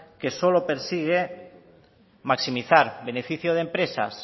que solo persigue maximizar beneficio de empresas